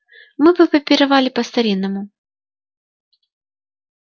мы бы попировали по-старинному